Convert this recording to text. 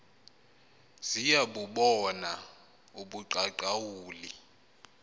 ziya bubona ubuqaqawuli